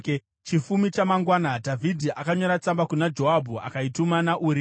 Chifumi chamangwana Dhavhidhi akanyora tsamba kuna Joabhu akaituma naUria.